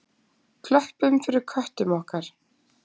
Klöppum fyrir köttum okkar!